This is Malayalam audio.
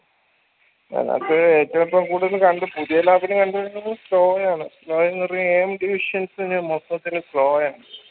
ഞങ്ങക്ക് ഏറ്റും ഇപ്പൊ കണ്ട് പുതിയ lap ന് കണ്ട് വരുന്നത് slow യാണ് slow മൊത്തത്തിൽ slow യാണ്